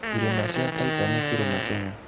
irĩma cia Taita nĩ kĩrĩma Kenya.